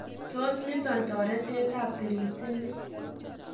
Tos niton toretet ab tirititini?